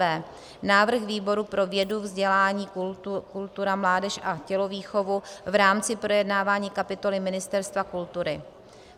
b) návrh výboru pro vědu, vzdělání, kulturu, mládež a tělovýchovu v rámci projednávání kapitoly Ministerstva kultury: